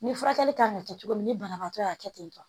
Ni furakɛli kan ka kɛ cogo min na ni banabaatɔ y'a kɛ ten tɔ